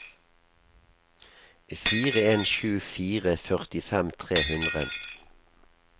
fire en sju fire førtifem tre hundre